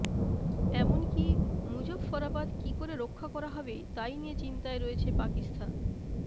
এমনকী মুজফফরাবাদ কী করে রক্ষা করা হবে তাই নিয়ে চিন্তায় রয়েছে পাকিস্তান